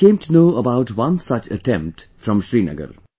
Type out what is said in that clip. I came to know about one such attempt from Srinagar